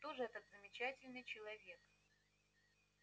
кто же этот замечательный человек